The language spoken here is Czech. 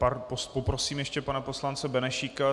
Poprosím ještě pana poslance Benešíka.